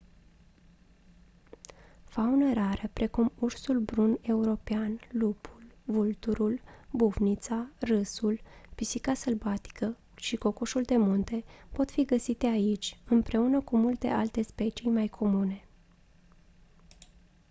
faună rară precum ursul brun european lupul vulturul bufnița râsul pisica sălbatică și cocoșul de munte pot fi găsite aici împreună cu multe alte specii mai comune